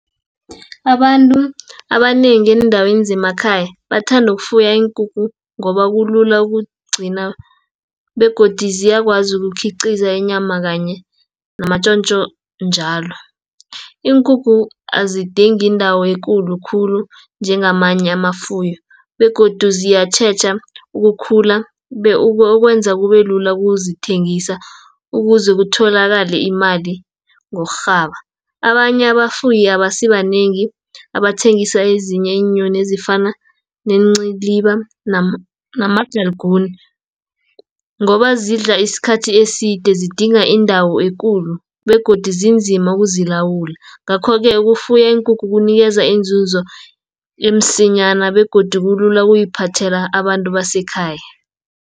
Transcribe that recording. Abantu abanengi eendaweni zemakhaya, bathandu ukufuya iinkukhu ngoba kulula ukugcina begodu ziyakwazi ukukhiqiza inyama kanye namatjontjo njalo. Iinkukhu azidingi indawo ekulu khulu njengamanye amafuyo begodu ziyatjheja ukukhula, okwenza kubelula kuzithengisa, ukuze kutholakale imali ngokurhaba. Abanye abafuyi abasibanengi abathengisa ezinye iinyoni ezifana neenciliba, namagaliguni, ngoba zidla isikhathi eside zidinga indawo ekulu, begodi zinzima ukuzilawula. Ngakho-ke ukufuya iinkukhu kunikeza iinzunzo emsinyana, begodi kulula ukuyiphathela abantu abasekhaya.